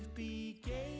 í